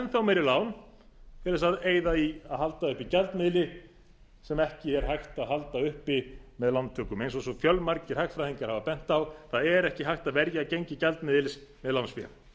þá meiri lán til að eyða í að halda uppi gjaldmiðli sem ekki er hægt að halda uppi með lántökum eins og svo fjölmargir hagfræðingar hafa bent á það er ekki hægt að verja gengi gjaldmiðils með lánsfé